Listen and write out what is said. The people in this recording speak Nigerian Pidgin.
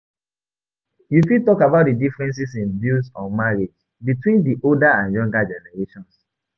You fit talk about di differences in views on marriage between di older and younger generations.